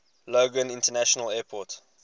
logan international airport